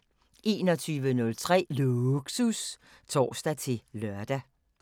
21:03: Lågsus (tor-lør)